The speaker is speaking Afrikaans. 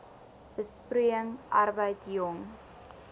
besproeiing arbeid jong